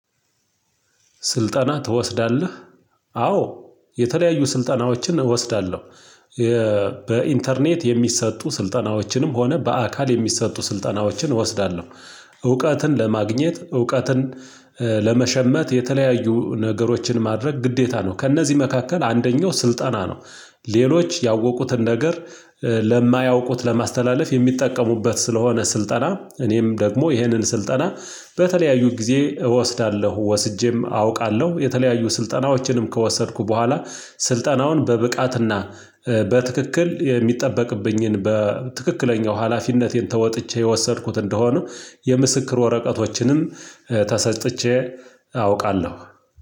ስልጣና ትወስዳለህ? አዎ የተለያዩ ስልጣናዎችን እወስዳለሁ፤ የሚሰጡ ስልጠናዎችንም ሆነ በአካል የሚሰጡ ስልጠናዎችን እወስዳለሁ እውቀትን ለማግኘት፣ እውቀትን ለመሸመት የተለያዩ ነገሮችን ማድረግ ግዴታ ነው፤ ከእነዚህ መካከል አንደኛው ስልጠና ነው ሌሎች ያወቁትን ነገር ለማያውቁት ለማስተላለፍ የሚጠቀሙበት ስለሆነ ስልጠና እኔም ደግሞ ይሄንን ስልጠና በተለያዩት ጊዜ እወስዳለሁ ወስጄም አውቃለሁ የተለያዩ ስልጠናዎችንም ከወሰድኩ በኋላ ስልጠናውን በብቃትና በትክክል የሚጠበቅብኝን በትክክለኛው ሀላፊነቴን ተወጥቼ የወሰድኩት እንደሆነ የምስክር ወረቀቶችንም ተሰጥቼ አውቃለሁ